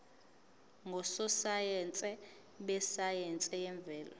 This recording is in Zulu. ngososayense besayense yemvelo